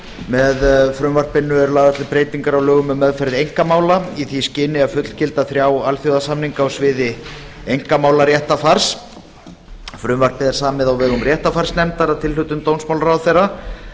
með frumvarpinu eru lagðar til breytingar á lögum um meðferð einkamála í því skyni að fullgilda þrjá alþjóðasamninga á sviði einkamálaréttarfars frumvarpið er samið á vegum réttarfarsnefndar að tilhlutan n dómsmálaráðherra